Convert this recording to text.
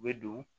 U bɛ don